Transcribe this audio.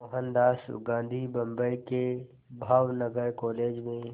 मोहनदास गांधी बम्बई के भावनगर कॉलेज में